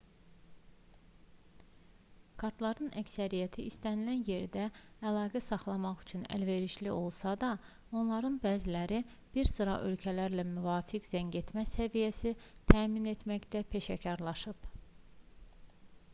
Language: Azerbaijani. kartların əksəriyyəti istənilən yerlə əlaqə saxlamaq üçün əlverişli olsa da onlardan bəziləri bir sıra ölkələrə müvafiq zəngetmə səviyyəsi təmin etməkdə peşəkarlaşıb